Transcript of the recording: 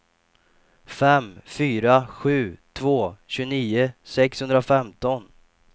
fem fyra sju två tjugonio sexhundrafemton